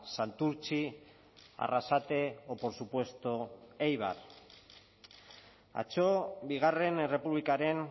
santurtzi arrasate o por supuesto eibar atzo bigarren errepublikaren